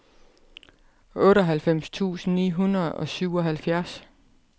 otteoghalvfems tusind ni hundrede og syvoghalvfjerds